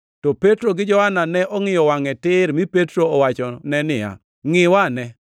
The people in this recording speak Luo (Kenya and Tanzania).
To Petro gi Johana ne ongʼiyo wangʼe tir, mi Petro owachone niya, “Ngʼiwa ane!”